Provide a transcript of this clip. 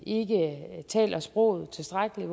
ikke taler sproget tilstrækkeligt